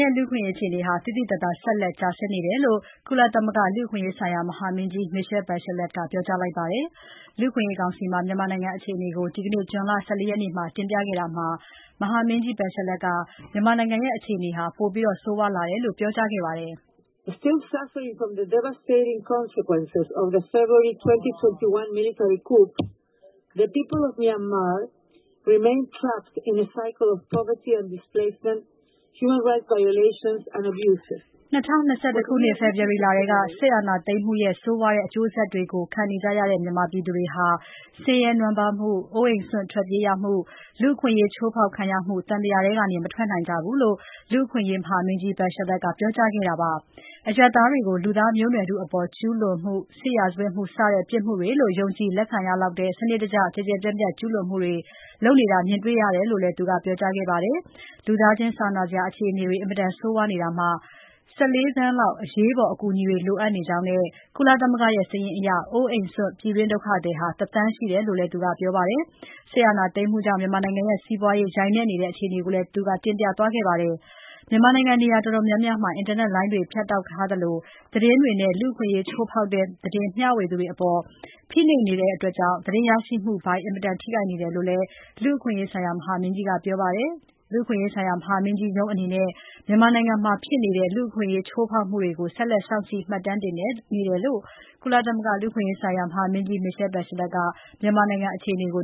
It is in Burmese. ရဲ့ လူ့အခွင့်အရေးအခြေအနေဟာ သိသိသာသာ ဆက်လက်ကျဆင်းနေတယ်လို့ ကုလသမဂ္ဂလူ့အခွင့်အရေးဆိုင်ရာ ကော်မရှင်နာမင်းကြီး Michelle Bachelet ကပြောကြားလိုက်ပါတယ်။ လူ့အခွင့်အရေးကောင်စီမှာ မြန်မာနိုင်ငံအခြေအနေကို ဒီနေ့ ဇွန်လ ၁၄ ရက်နေ့မှာ တင်ပြခဲ့တာမှာ မဟာမင်းကြီး Bachelet က အခြေအနေ ပိုဆိုးလာတယ်လို့ ပြောကြားခဲ့ပါတယ်။ ၂၀၂၁ ဖေဖော်ဝါရီလကတည်းက စစ်အာဏာသိမ်းမှုရဲ့ ဆိုးဝါးတဲ့ အကျိုးဆက်တွေကို ခံနေကြရတဲ့ မြန်မာပြည်သူတွေဟာ ဆင်းရဲနွမ်းပါးမှု၊ အိုးအိမ်စွန့် ထွက်ပြေးရမှု၊ လူ့အခွင့်အရေးချိုးဖောက်ခံရမှု သံသရာထဲက မထွက်နိုင်ကြဘူးလို့ လူ့အခွင့်အရေးမဟာမင်းကြီး Bachelet က ပြောကြားခဲ့တာဖြစ်ပါတယ်။ အရပ်သားတွေကို လူသားမျိုးနွယ်ထုအပေါ် ကျူးလွန်မှု၊ စစ်ရာဇဝတ်မှု စတဲ့ပြစ်မှုတွေလို့ ယုံကြည်လက်ခံရလောက်တဲ့ စနစ်တကျ၊ ကျယ်ကျယ်ပြန့်ပြန့် ကျူးလွန်မှုတွေ လုပ်နေတာ မြင်တွေ့နေရတယ်လို့ လည်း သူကပြောကြားပါတယ်။ လူသားချင်းစာနာစရာ အခြေအနေတွေ အင်မတန်ဆိုးဝါးနေတာမှာ ၁၄ သန်းလောက် အရေးပေါ် အကူအညီတွေလိုအပ်နေကြောင်းနဲ့ ကုလသမဂ္ဂရဲ့ စာရင်းအရ အိုးအိမ်စွန့် ပြည်တွင်း ဒုက္ခသည် ၁ သန်းရှိတယ်လို့လည်း သူကပြောပါတယ်။ စစ်အာဏာသိမ်းမှုကြောင့် မြန်မာနိုင်ငံရဲ့စီးပွားရေးဟာ ယိုင်နဲ့နေတဲ့အခြေအနေကိုလည်း သူကတင်ပြသွားပါတယ်။ မြန်မာနိုင်ငံ နေရာတော်တော်များများမှာ အင်တာနက်လိုင်းတွေ ဖြတ်တောက်ထားသလို သတင်းထောက်တွေနဲ့ လူ့အခွင့်အရေးချိုးဖောက်တဲ့ သတင်းမျှဝေသူတွေအပေါ် ဖိနှိပ်နေတဲ့အတွက် သတင်းရရှိမှုပိုင်း အင်မတန်ထိခိုက်နေတယ်လို့လည်း လူ့အခွင့်အရေး မဟာမင်းကြီးကပြောပါတယ်။ လူ့အခွင့်အရေး မဟာမင်းကြီးရဲ့ ရုံးအနေနဲ့ မြန်မာနိုင်ငံမှာဖြစ်နေတဲ့ လူ့အခွင့်အရေးချိုးဖောက်မှုတွေကို ဆက်လက် စောင့်ကြည့် မှတ်တမ်းတင်နေတယ်လို့ ကုလသမဂ္ဂလူ့အခွင့်အရေးဆိုင်ရာ မဟာမင်းကြီး Michelle Bachelet က မြန်မာနိုင်ငံအခြေအနေကို